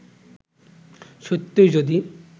সত্যিই যদি